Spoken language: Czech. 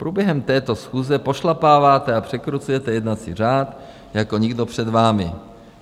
Průběhem této schůze pošlapáváte a překrucujete jednací řád jako nikdo před vámi.